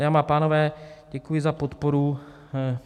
Dámy a pánové, děkuji za podporu.